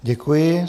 Děkuji.